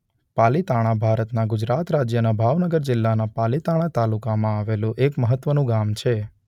પાલીતાણા ભારતના ગુજરાત રાજ્યના ભાવનગર જિલ્લાના પાલીતાણા તાલુકામાં આવેલું એક મહત્વનું ગામ છે.